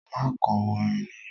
Má kọ orin náà!